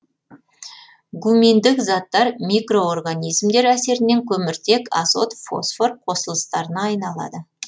гуминдік заттар микроорганизмдер әсерінен көміртек азот фосфор қосылыстарына айналады